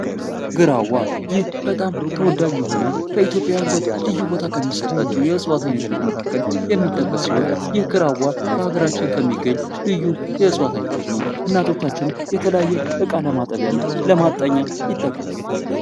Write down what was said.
ግራዋ ይህ በጣም ተወዳጅ የሆነ በኢትዮጵያዊያን ዘንድ ልዩ ቦታ ከሚሰጣቸው የእፅዋት መካከል የሚጠቀስ ይህ ግራዋ በሀገራችን ከሚገኝ ልዩ የእፅዋት አይነቶች ነው። እናቶቻችን የተለያየ እቃ ለማጠቢያና ለማጠኛ ይጠቀሙበታል።